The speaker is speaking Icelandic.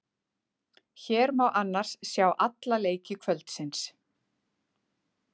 Hér má annars sjá alla leiki kvöldsins.